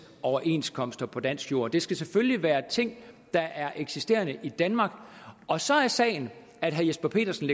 overenskomster på dansk jord det skal selvfølgelig være ting der er eksisterende i danmark og så er sagen at herre jesper petersen